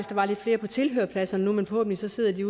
der var lidt flere på tilhørerpladserne nu men forhåbentlig sidder de